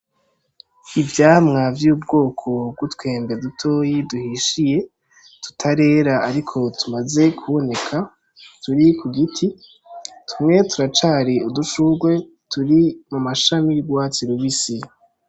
Ivyamwa vy'ubwoko bw'utwembe dutoyi duhishiye, tutarera ariko tumaze kuboneka, turi kugiti, tumwe turacari udushurwe turi mu mashami y'urwatsi rubisi.